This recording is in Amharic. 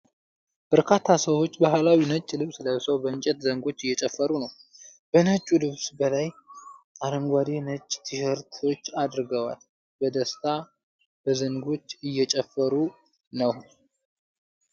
በርካታ ሰዎች ባህላዊ ነጭ ልብስ ለብሰው በእንጨት ዘንጎች እየጨፈሩ ነው። ከነጩ ልብስ በላይ አረንጓዴና ነጭ ቲሸርቶች አርገዋል። በደስታ በዘንጎች እየጨፈሩ ነው።